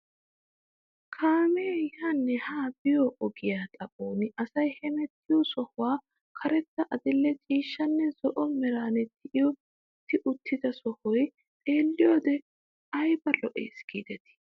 Kaamee yaanne haa biyoo ogiyaa xaphon asay hemettiyoo sohuwan karetta adil'e ciishshanne zo'o meran tiyetti uttida sohoy xeelliyoo wode ayba lo"ees gidetii!